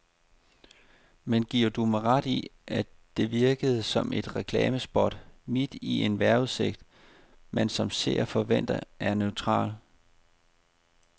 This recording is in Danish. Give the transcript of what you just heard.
Men giver du mig ret i, at det virkede som et reklamespot midt i en vejrudsigt, man som seer forventer er neutral.